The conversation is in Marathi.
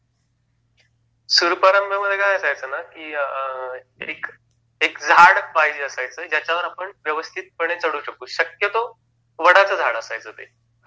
सूरपारंब्यामध्ये काय असायचं ना, एक झाड पाहिजे असायचं ज्यावर आपण व्यवस्थित पणे चढू शकू, शक्यतो वडाच झाड असायचं ते